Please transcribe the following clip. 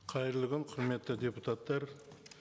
қайырлы күн құрметті депутаттар